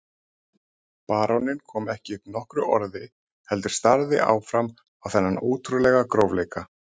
Baróninn kom ekki upp nokkru orði heldur starði áfram á þennan ótrúlega grófleika.